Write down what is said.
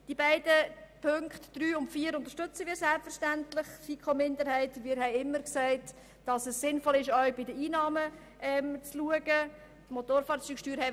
Selbstverständlich unterstützen wir die Planungserklärungen 3 und 4. Wir haben immer gesagt, dass es sinnvoll ist, auch die Einnahmenseite anzuschauen.